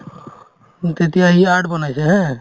উম, তেতিয়া ই art বনাইছে haa